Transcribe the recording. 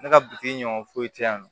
Ne ka bi ɲɔ foyi tɛ yan